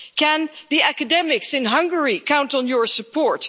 Can the academics in Hungary count on your support?